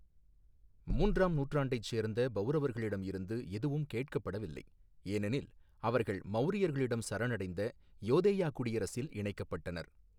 மூன்றாம் நூற்றாண்டைச் சேர்ந்த பௌரவர்களிடம் இருந்து எதுவும் கேட்கப்படவில்லை, ஏனெனில் அவர்கள் மௌரியர்களிடம் சரணடைந்த யோதேயா குடியரசில் இணைக்கப்பட்டனர்.